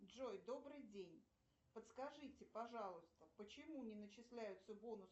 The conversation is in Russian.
джой добрый день подскажите пожалуйста почему не начисляются бонусы